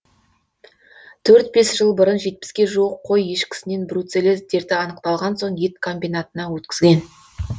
төрт бес жыл бұрын жетпіске жуық қой ешкісінен бруцеллез дерті анықталған соң ет комбинатына өткізген